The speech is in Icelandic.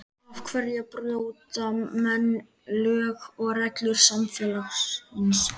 Af hverja brjóta menn lög og reglur samfélagsins?